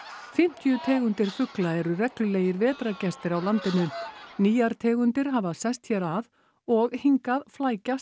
fimmtíu tegundir fugla eru reglulegir vetrargestir á landinu nýjar tegundir hafa sest hér að og hingað flækjast